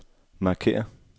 markér